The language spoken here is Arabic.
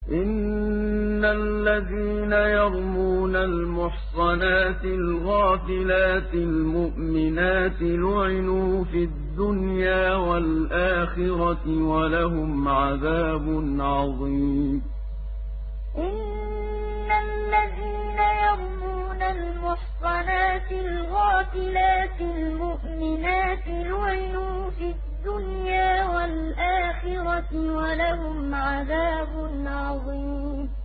إِنَّ الَّذِينَ يَرْمُونَ الْمُحْصَنَاتِ الْغَافِلَاتِ الْمُؤْمِنَاتِ لُعِنُوا فِي الدُّنْيَا وَالْآخِرَةِ وَلَهُمْ عَذَابٌ عَظِيمٌ إِنَّ الَّذِينَ يَرْمُونَ الْمُحْصَنَاتِ الْغَافِلَاتِ الْمُؤْمِنَاتِ لُعِنُوا فِي الدُّنْيَا وَالْآخِرَةِ وَلَهُمْ عَذَابٌ عَظِيمٌ